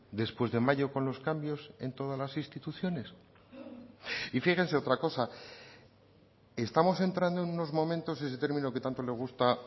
después de mayo con los cambios en todas las instituciones y fíjense otra cosa estamos entrando en unos momentos ese término que tanto le gusta